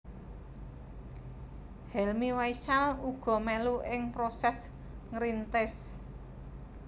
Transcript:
Helmy Faishal uga melu ing proses ngrintis